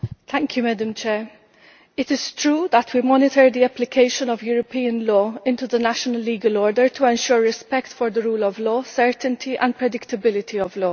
Madam President, it is true that we monitor the application of European law into the national legal order to ensure respect for the rule of law, legal certainty and predictability of law.